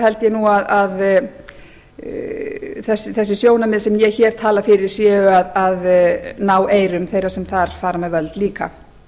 held ég að þessi sjónarmið sem ég hér tala fyrir séu að ná eyrum þeirra sem þar fara með völd líka